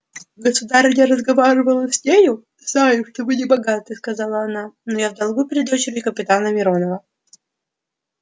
государыня разговорилась с нею знаю что вы не богаты сказала она но я в долгу перед дочерью капитана миронова